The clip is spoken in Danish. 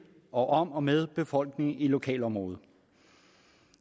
og om og med befolkningen i lokalområdet og